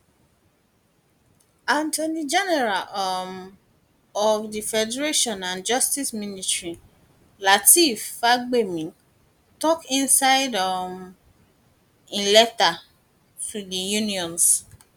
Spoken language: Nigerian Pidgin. attorney general um of di federation and justice minister lateef fagbemi tok inside um im letter to di unions